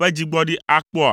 ƒe dzigbɔɖi akpɔa?